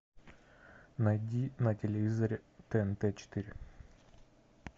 найди на телевизоре тнт четыре